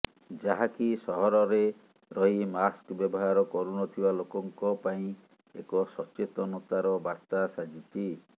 ଯାହାକି ସହରରେ ରହି ମାସ୍କ ବ୍ୟବହାର କରୁନଥିବା ଲୋକଙ୍କ ପାଇଁ ଏକ ସଚେତନତାର ବାର୍ତ୍ତା ସାଜିଛି